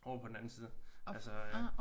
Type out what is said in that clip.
Ovre på den anden side altså øh